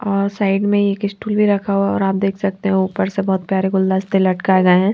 और साईड में एक स्टूल भी रखा हुआ और आप देख सकते है ऊपर से बोहोत प्यारे गुलदस्ते लटकाये गौए है।